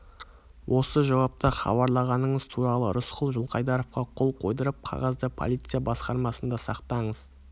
осы жауапты хабарлағаныңыз туралы рысқұл жылқайдаровқа қол қойдырып қағазды полиция басқармасында сақтаңыз